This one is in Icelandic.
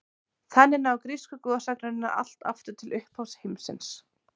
Þannig ná grísku goðsagnirnar allt aftur til upphafs heimsins.